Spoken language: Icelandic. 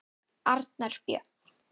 Arnar Björn.